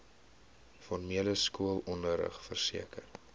formele skoolonderrig verseker